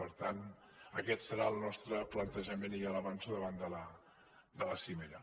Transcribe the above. per tant aquest serà el nostre plantejament i ja l’avanço davant de la cimera